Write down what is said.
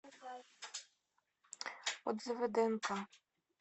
отзывы днк